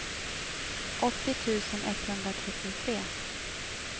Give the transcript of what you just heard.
åttio tusen etthundratrettiotre